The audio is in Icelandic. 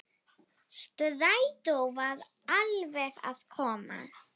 Strætó var alveg að koma.